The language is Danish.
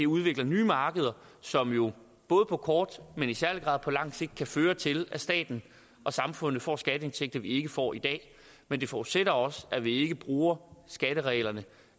udvikler nye markeder som jo både på kort men i særlig grad på lang sigt kan føre til at staten og samfundet får skatteindtægter vi ikke får i dag men det forudsætter også at vi ikke bruger skattereglerne